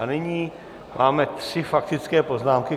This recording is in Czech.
A nyní máme tři faktické poznámky.